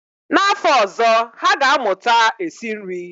N'afọ ọzọ, ha ga-amụta esi nri